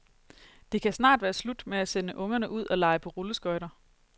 Det kan snart være slut med at sende ungerne ud og lege på rulleskøjter.